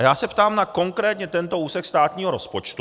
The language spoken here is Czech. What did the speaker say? A já se ptám na konkrétně tento úsek státního rozpočtu.